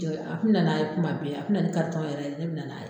A kun bɛ na na ye kuma bɛɛ, a kun bɛ na ni karitɔn yɛrɛ de ye ne bɛ na na ye.